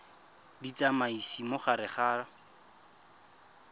di tsamaisa mo gare ga